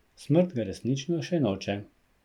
Smrt ga resnično še noče.